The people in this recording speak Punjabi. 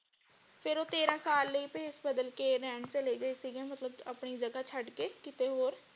ਫੇਰ ਉਹ ਤੇਰਾਂ ਸਾਲ ਲਈ ਭੇਸ਼ ਬਦਲ ਕੇ ਰਹਿਣ ਚਲੇਗੇ ਸੀਗੇ ਮਤਲਬ ਆਪਣੀ ਜੱਗ ਛੱਡ ਕੇ ਕਿਤੇ ਹੋਰ।